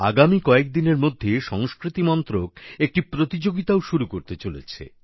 আগামী কয়েকদিনের মধ্যে সংস্কৃতি মন্ত্রক একটি প্রতিযোগিতাও শুরু করতে চলেছে